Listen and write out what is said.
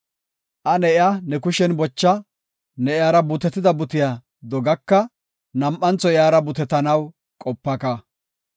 Ane iya ne kushen bocha; ne iyara butetida butiya dogaka; nam7antho iyara butetanaw qopaka.